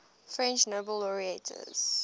french nobel laureates